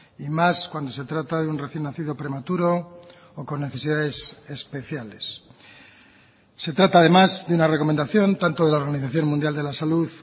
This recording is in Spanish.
y más cuando se trata de un recién nacido prematuro o con necesidades especiales se trata además de una recomendación tanto de la organización mundial de la salud